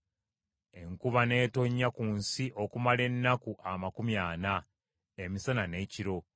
Enkuba n’etonnya ku nsi okumala ennaku amakumi ana, emisana n’ekiro.